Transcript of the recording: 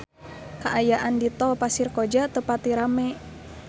Kaayaan di Tol Pasir Koja teu pati rame